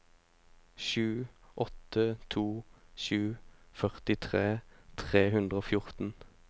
sju åtte to sju førtitre tre hundre og fjorten